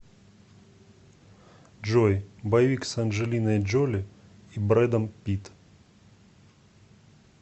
джой боевик с анджелиной джоли и бреддом питт